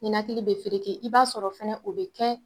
Ninakilili be feereke i b'a sɔrɔ fɛnɛ o bi kɛ